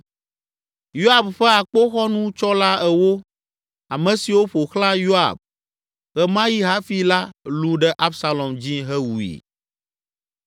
Yoab ƒe akpoxɔnutsɔla ewo, ame siwo ƒo xlã Yoab ɣe ma yi hafi la lũ ɖe Absalom dzi hewui.